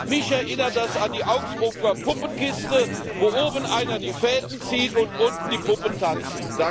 Mich erinnert das an die Augsburger Puppenkiste, wo oben einer die Fäden zieht und unten die Puppen tanzen.